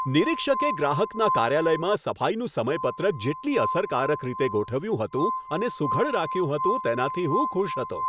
નિરીક્ષકે ગ્રાહકના કાર્યાલયમાં સફાઈનું સમયપત્રક જેટલી અસરકારક રીતે ગોઠવ્યું હતું અને સુઘડ રાખ્યું હતું તેનાથી હું ખુશ હતો.